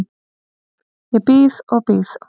Ég bíð og bíð.